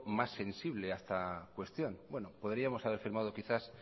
más sensible a esta cuestión bueno podríamos haber firmado quizás